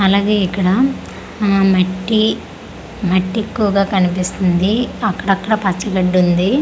అలాగే ఇక్కడ అ మట్టి మట్టి ఎక్కువగా కనిపిస్తుంది అక్కడ అక్కడ పచ్చ గడ్డి ఉంది .]